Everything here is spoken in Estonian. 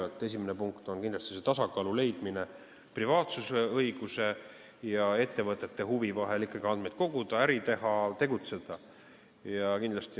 Esimene selline punkt on kindlasti tasakaalu leidmine privaatsusõiguse ja ettevõtete huvi vahel ikkagi andmeid koguda, äri teha ja tegutseda.